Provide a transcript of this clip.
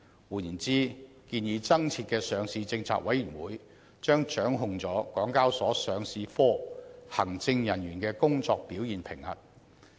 換言之，建議增設的上市政策委員會將掌控港交所上市部行政人員的工作表現評核。